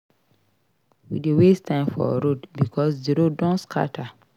We dey waste time for road because di road don scatter.